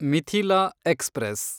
Mithila express